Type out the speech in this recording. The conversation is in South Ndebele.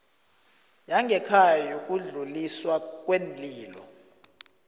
yangekhaya yokudluliswa kweenlilo